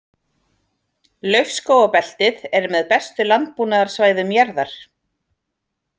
Laufskógabeltið er með bestu landbúnaðarsvæðum jarðar.